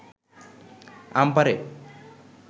আম পাড়ে